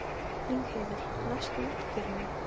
Ég ætla að vera Haraldur sagði Lilla ákveðin.